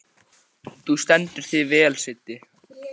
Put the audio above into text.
Þú stendur þig vel, Siddi!